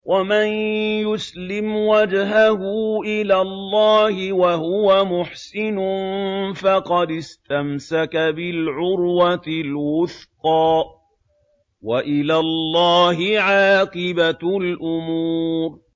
۞ وَمَن يُسْلِمْ وَجْهَهُ إِلَى اللَّهِ وَهُوَ مُحْسِنٌ فَقَدِ اسْتَمْسَكَ بِالْعُرْوَةِ الْوُثْقَىٰ ۗ وَإِلَى اللَّهِ عَاقِبَةُ الْأُمُورِ